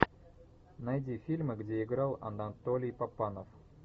найди фильмы где играл анатолий папанов